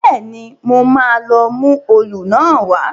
Bẹ́ẹ̀ni, mo máa lọ mú òòlù náà wá